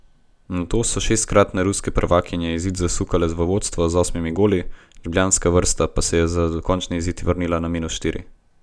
Nato so šestkratne ruske prvakinje izid zasukale v vodstvo z osmimi goli, ljubljanska vrsta pa se je za končni izid vrnila na minus štiri.